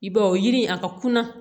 I b'a ye o yiri a ka kunna